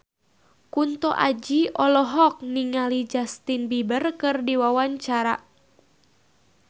Kunto Aji olohok ningali Justin Beiber keur diwawancara